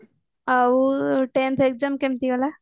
ଆଉ tenth exam କେମିତି ହେଲା